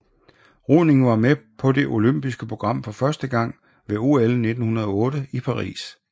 Roning var med på det olympiske program for første gang ved OL 1908 i Paris